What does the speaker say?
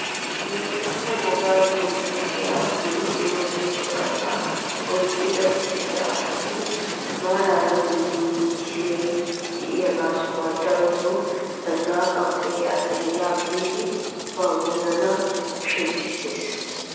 Wolaytta wogaa qonccisiyaa dumma dumma buqrata oyqqi uttida asati maarara misiliyaa de'iyoo sohoy darotoo zanaqana koyiyaa asay yaa biidi ba wozanaa shemppisees!